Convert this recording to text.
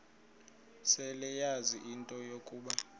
seleyazi into yokuba